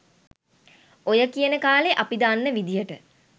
ඔය කියන කාලෙ අපි දන්න විදියට